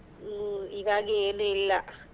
ಹ್ಮ್ ಇವಾಗೆ ಏನು ಇಲ್ಲಾ.